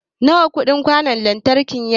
Nawa kudin kwan lantriki yake?